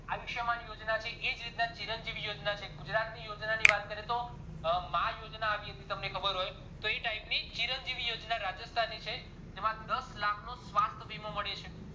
અયુશ્માન યોજના છે એજ રીતે ચિરંજીવી યોજના છે ગુજરાત ની યોજનાની વાત કરીએ તો અ માં યોજના આવી એક તમને ખબર હોય તો એ type ની ચિરંજીવી યોજના રાજ્સથાનની છે જેમાં દસ લાખ નું સ્વસ્થ વીમા મળ્યો છે